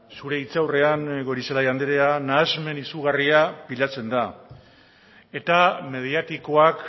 zure hitzaurrean goirizelaia andrea nahasmen izugarria pilatzen da eta mediatikoak